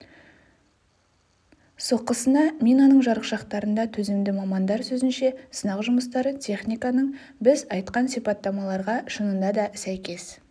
соққысына минаның жарықшақтарында төзімді мамандар сөзінше сынақ жұмыстары техниканың біз айтқан сипаттамаларға шынында да сәйкес